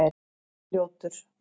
Arnljótur